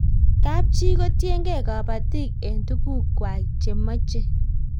Kapchii kotiegei kabatik eng' tuguk kwai che mache